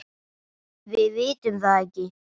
Við vitum það ekki.